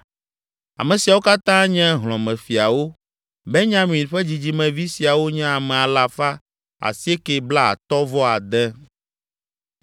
Ame siawo katã nye hlɔ̃mefiawo. Benyamin ƒe dzidzimevi siawo nye ame alafa asiekɛ blaatɔ̃-vɔ-ade (956).